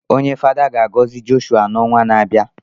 Onye Fada ga-agọzi Jọshụa n’ọnwa na-abịa